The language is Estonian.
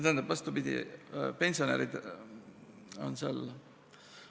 Tähendab, vastupidi – pensionärid on seal ...